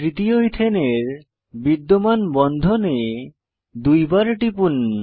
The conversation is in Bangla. তৃতীয় ইথেনের বিদ্যমান বন্ধনে দুইবার টিপুন